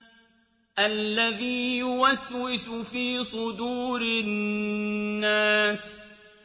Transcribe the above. الَّذِي يُوَسْوِسُ فِي صُدُورِ النَّاسِ